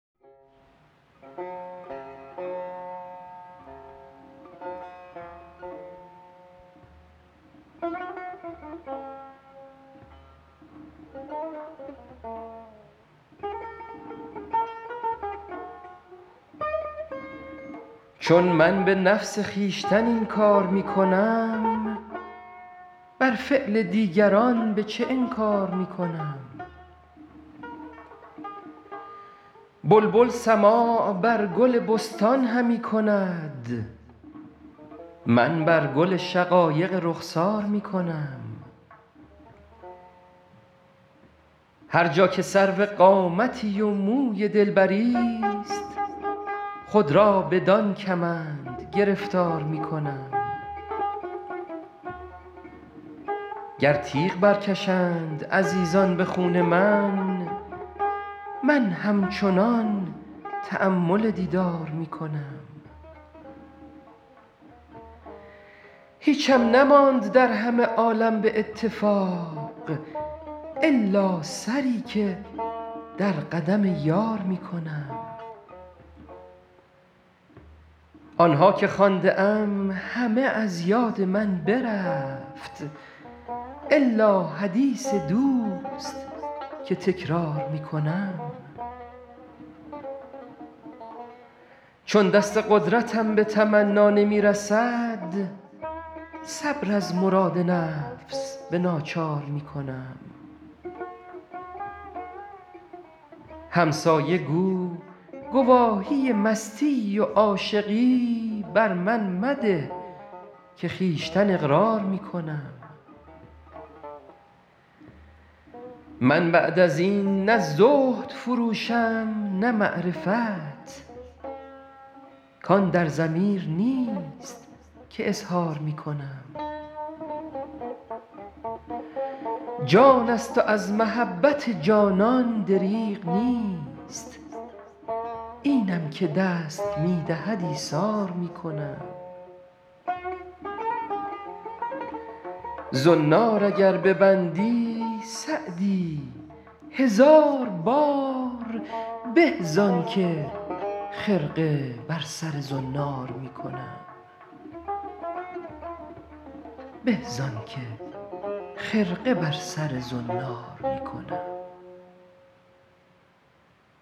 چون من به نفس خویشتن این کار می کنم بر فعل دیگران به چه انکار می کنم بلبل سماع بر گل بستان همی کند من بر گل شقایق رخسار می کنم هر جا که سرو قامتی و موی دلبریست خود را بدان کمند گرفتار می کنم گر تیغ برکشند عزیزان به خون من من همچنان تأمل دیدار می کنم هیچم نماند در همه عالم به اتفاق الا سری که در قدم یار می کنم آن ها که خوانده ام همه از یاد من برفت الا حدیث دوست که تکرار می کنم چون دست قدرتم به تمنا نمی رسد صبر از مراد نفس به ناچار می کنم همسایه گو گواهی مستی و عاشقی بر من مده که خویشتن اقرار می کنم من بعد از این نه زهد فروشم نه معرفت کان در ضمیر نیست که اظهار می کنم جان است و از محبت جانان دریغ نیست اینم که دست می دهد ایثار می کنم زنار اگر ببندی سعدی هزار بار به زان که خرقه بر سر زنار می کنم